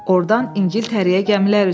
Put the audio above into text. Oradan İngiltərəyə gəmilər üzür.